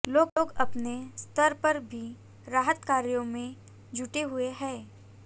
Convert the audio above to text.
लोग अपने स्तर पर भी राहत कार्यों में जुटे हुए हैं